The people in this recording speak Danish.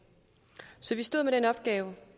så vi stod med den opgave